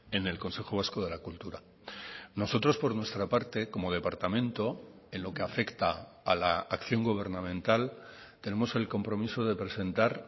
en el consejo vasco de la cultura nosotros por nuestra parte como departamento en lo que afecta a la acción gubernamental tenemos el compromiso de presentar